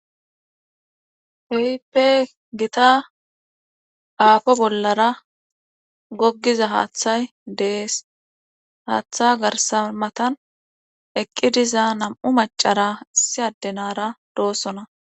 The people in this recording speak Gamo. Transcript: Keehipe gita aafo bollara goggiza haathay de7ees haata garsa matan eqqi diza nam7u maccara issi adde naara doosona.